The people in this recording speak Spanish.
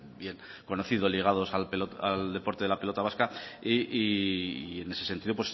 bien conocido o ligados al deporte de la pelota vasca y en ese sentido